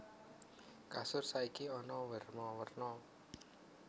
Kasur saiki ana werna werna